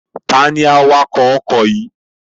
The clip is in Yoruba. Ta ni awakọ̀ ọkọ̀ yìí?